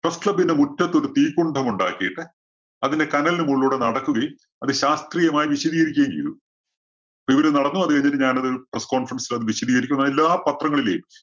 press club ന്റെ മുറ്റത്തൊരു തീക്കുണ്ഡം ഉണ്ടാക്കിയിട്ട് അതിലെ കനലിന് മുകളിലൂടെ നടക്കുകയും, അത് ശാസ്ത്രീയമായി വിശദീകരിക്കുകയും ചെയ്തു. ഇപ്പം ഇവര് നടന്നു പോകുന്ന രീതിയില് ഞാനതൊരു press conference ല്‍ അത് വിശദീകരിക്കുകയും, എല്ലാ പത്രങ്ങളിലേം